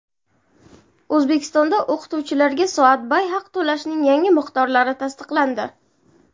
O‘zbekistonda o‘qituvchilarga soatbay haq to‘lashning yangi miqdorlari tasdiqlandi.